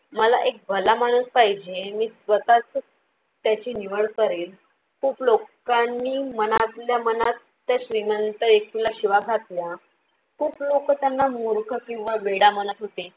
मला एक भला माणूस पाहिजे. मी स्वतःच त्याची निवड करेल. खूप लोकांनी मनातल्या मनात त्या श्रीमंत व्यक्तीला शिवा घातल्या, खूप लोक त्यांना मूर्ख किंवा वेडा म्हणत होते